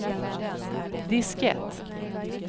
diskett